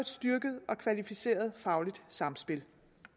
styrket og kvalificeret fagligt samspil